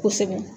Kosɛbɛ